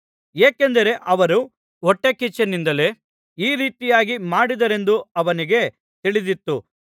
ಏಕೆಂದರೆ ಅವರು ಹೊಟ್ಟೆಕಿಚ್ಚಿನಿಂದಲೇ ಈ ರೀತಿಯಾಗಿ ಮಾಡಿದ್ದಾರೆಂದು ಅವನಿಗೆ ತಿಳಿದಿತ್ತು